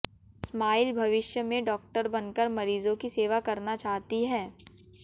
smile भविष्य में doctor बनकर मरीजों की सेवा करना चाहती है